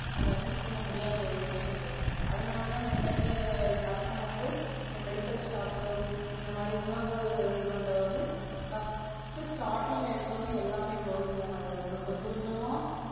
அது Adjust பண்ணாத ஒரு விஷயங்கள். அதனலத நமக்கு வந்து அரசாங்க வந்து இந்த Medical shop இந்தமாறி உணவு இதுபண்றது வந்து First Starting எடுத்தவன் எல்லாமே Closing லதா இருந்தது கொஞ்ச கொஞ்சமா.